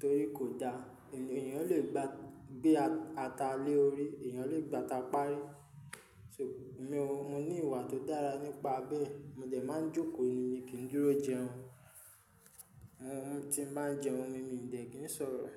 torí kò da. Ènìyàn lè gba, gbé ata lé orí, ènìyàn lè gbata parí. So mi ò, mo ní ìwà tó dára nípa bẹ́ẹ̀. Mò de máa ń jókòó, mi kìí dúró jẹun. Mm tí n bá ń jẹun ni, mìdẹ̀ kì í n sọ̀rọ̀